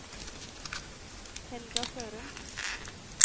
Helga Sørum